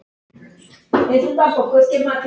Snúumst því til varnar!